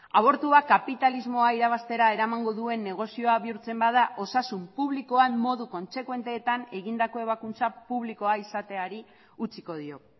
abortua kapitalismoa irabaztera eramango duen negozioa bihurtzen bada osasun publikoan modu kontsekuenteetan egindako ebakuntza publikoa izateari utziko dio